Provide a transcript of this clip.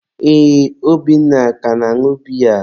ee, Obinna ka na-añụ biya.